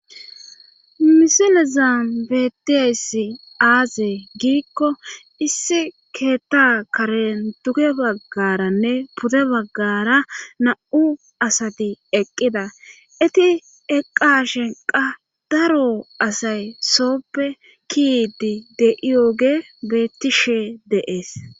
misilezan betiessi aaze giikko issi keetta karen duge baggaranne pude baggara nam7u asati eqqida iti eqqa shenqa daro asay sooppe kiidi de7iyooge bettishe de7es